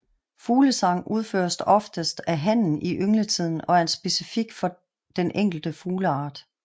Fuglesang udføres oftest af hannen i yngletiden og er specifik for den enkelte fugleart